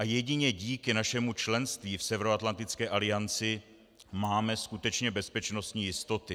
A jedině díky našemu členství v Severoatlantické alianci máme skutečně bezpečnostní jistoty.